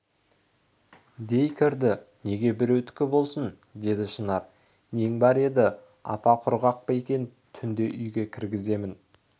дей кірді неге біреудікі болсын деді шынар нең бар еді апа құрғақ па екен түнде үйге кіргізгемін